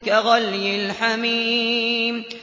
كَغَلْيِ الْحَمِيمِ